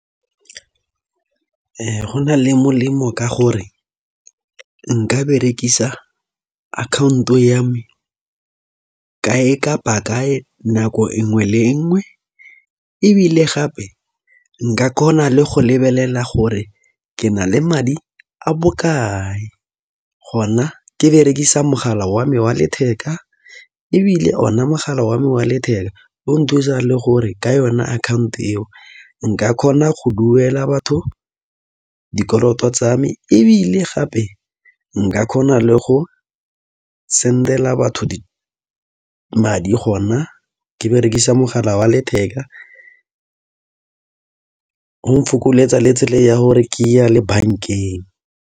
Go na le molemo ka gore nka berekisa account-o ya me kae kapa kae nako e nngwe le nngwe. Ebile gape nka kgona le go lebelela gore ke na le madi a bokae gona ke berekisa mogala wa me wa letheka. Ebile o na mogala wa me wa letheka o nthusa le gore ka yone account eo nka kgona go duela batho dikoloto tsame. Ebile gape nka kgona le go send-ela batho madi gona ke berekisa mogala wa letheka, ong fokoletsa le tsela ya gore ke ye le bank-eng.